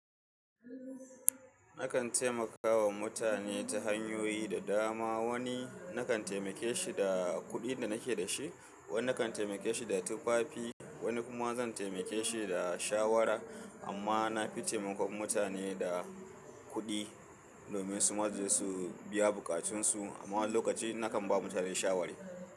Nakan taimakawa mutane ta hanyoyi da dama. Wani nakan taimake shi da kuɗin da nake da shi, wani nakan taimake shi da tufafi, wani kuma zan taimake shi da shawara. Amma na fi taimakon mutane da kuɗi domin suma suje su biya bukatunsu. Amma wani lokaci nakan ba mutane shawara.